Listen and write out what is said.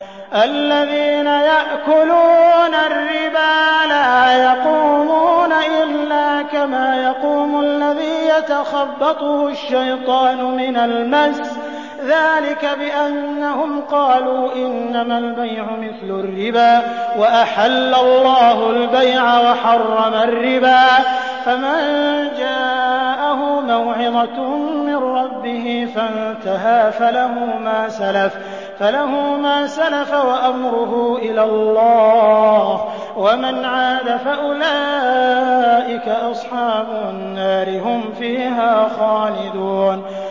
الَّذِينَ يَأْكُلُونَ الرِّبَا لَا يَقُومُونَ إِلَّا كَمَا يَقُومُ الَّذِي يَتَخَبَّطُهُ الشَّيْطَانُ مِنَ الْمَسِّ ۚ ذَٰلِكَ بِأَنَّهُمْ قَالُوا إِنَّمَا الْبَيْعُ مِثْلُ الرِّبَا ۗ وَأَحَلَّ اللَّهُ الْبَيْعَ وَحَرَّمَ الرِّبَا ۚ فَمَن جَاءَهُ مَوْعِظَةٌ مِّن رَّبِّهِ فَانتَهَىٰ فَلَهُ مَا سَلَفَ وَأَمْرُهُ إِلَى اللَّهِ ۖ وَمَنْ عَادَ فَأُولَٰئِكَ أَصْحَابُ النَّارِ ۖ هُمْ فِيهَا خَالِدُونَ